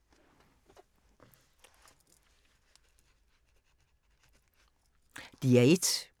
DR1